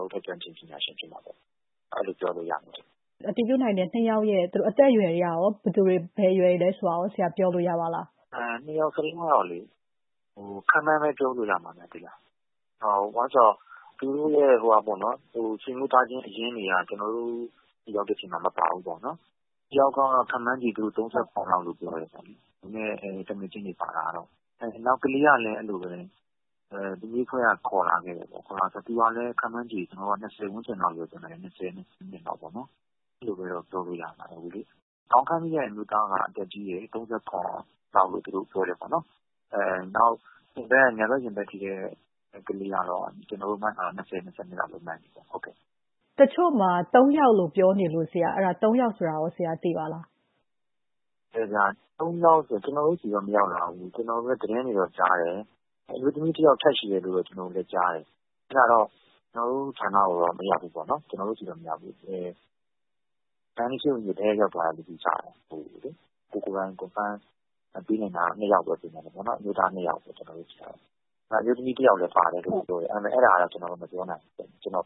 ော်တို့ထက် ကျွမ်းကျင်ပညာရှင်ဖြစ်မှာပေါ့။ အဲလိုပဲပြောလို့ရမယ်။ အတည်ပြုနိုင်တဲ့အသက်အရွယ်တွေ ကရော ဘယ်အရွယ်တွေလဲဆိုတာရော ဆရာပြောလို့ရပါလား။ နှစ်ယောက်စလုံးကတော့လေ-ခန့်မှန်းပဲပြောလို့ရမယ်။ ဘာလို့လဲဆိုတော့ သူတို့ရဲ့ဆွေမျိုးသားချင်းအရင်းတွေက ကျနော်တို့ရောက်တဲ့အချိန်မှာ မပါဘူးပေါ့နော်။ သူငယ်ချင်းတွေပါလာတဲ့ တယောက်ကတော့ ခန့်မှန်းခြေ ၃၇ လောက်လို့ ပြောတယ်။ နောက်ကလေးကလည်း....အဖွဲ့က ခေါ်လာခဲ့တယ်ပေါ့။ သူကလည်း ခန့်မှန်းခြေ ၂၀ ဝန်းကျင်လောက်ပေါ့နော်။ အဲလိုပဲတော့ ပြောလို့ရပါတယ်။ ခေါင်းခိုက်မိတဲ့အမျိုးသားက အသက်ကြီးတယ်၊ ၃၇ လောက်လို့ သူတို့ပြောတယ်ပေါ့နော်။ နောက် ညာဘက်ရင်ဘတ်ထိတဲ့ကလေးကတော့ ကျနော်တို့မှန်းထားတာ ၂၀၊ ၂၂ လောက်ပဲရှိတယ်ဗျ။ တချို့က သုံးယောက်လို့ပြောနေလို့၊ သုံးယောက်ဆိုတာကိုရော ဆရာသိပါသလား။ သုံးယောက်ဆိုတာတော့ ကျနော်တို့ဆီတော့ မရောက်လာဘူး။ ကျနော်လည်းသတင်းတွေတော့ကြားတယ်။ အမျိုးသမီးတယောက် ထပ်ရှိတယ်လို့တော့ ကျနော်တို့လည်းကြားတယ်။ အဲဒါတော့ ကျနော်တို့ဌာနကိုတော့ မရောက်ဘူးပေါ့နော်။ မန္တလေးဆေးရုံကြီးကို တိုက်ရိုက်ရောက်သွားတယ်လို့တော့ ကြားတယ်။ ကိုယ်တိုင် confirm ပေးနိုင်တာကတော့ နှစ်ယောက်ပဲရှိတယ်။ ကျနော်တို့ဆီမှာတော့ အမျိုးသားနှစ်ယောက်ပေါ့နော်။ အမျိုးသမီးတယောက်လည်း ပါတယ်လို့တော့ ပြောတယ်။ အဲဒါကတော့ ကျနော်တို့ မပြောနိုင်ဘူး။ ကျနော့်